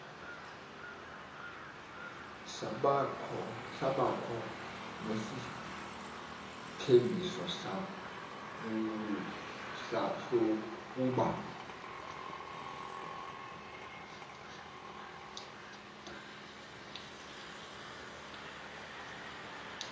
sabakho nesithembiso sokuba